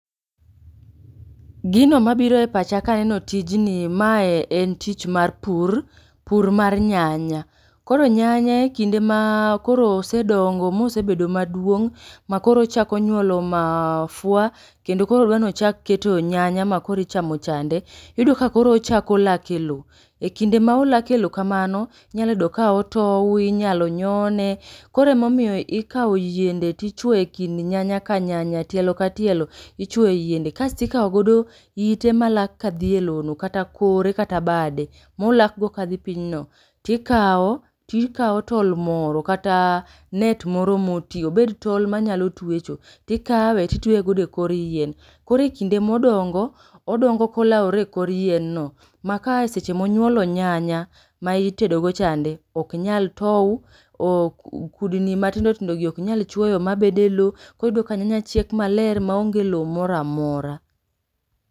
Gino mabiro e pacha ka aneno tijni, mae en tich mar pur, pur mar nyanya. Koro nyanya e kinde ma koro osedongo mosebedo maduong' ma koro ochako nyuolo mafua, kendo koro dwa ni ochak keto nyanya ma koro ichamo chande, iyudo ka koro ochako lak e lo. E kinde ma olak e lo kamano, inyalo yudo ka otou, inyalo nyone, koro ema omiyo ikao yiende to ichwoyo e kind nyanya ka nyanya, tielo ka tielo, ichwoyo e yiende, kasti kao godo ite malak ka dhi e lo no kata kore kata bade molak go ka dgi piny no tikao, tikao tol moro kata net moro ma oti, obed tol manyalo tuecho, tikawe titweye godo e kor yien. Koro kinde modongo, odongo ka olaore e kor yien no ma ka seche ma onyuolo nyanya ma itedo godo cha, ok nyal tou, kudni matindo tindo gi ok nyal chwoyo mabedo e lo, koro iyudo ka nyanya chiek ma onge lo moro amora.